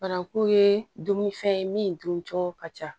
Bananku ye dumunifɛn ye min dun cɔ ka ca